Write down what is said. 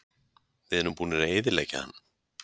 Við erum búnir að eyðileggja hann.